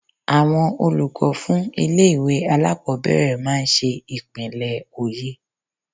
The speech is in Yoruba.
Àwọn olùkọ́ fún ilé-ìwé alákobẹ̀rẹ̀ máa n ṣe ìpínlẹ̀ oyè